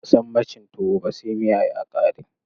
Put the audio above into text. Ba'a san mai cin tuwo ba sai miya ya ƙare.